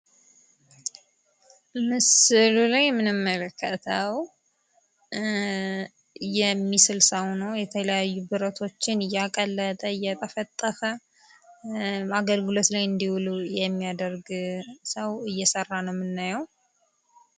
በምስሉ ላይ የምንመለከተው የሚስል ሰው ሲሆን፤ ብረቶችን እያቀለጠ እና እየጠፈጠፈ የተለያዩ አገልግሎት ላይ እንዲውሉ የሚያደርግ ሰው እየሰራ ነው የሚታየው።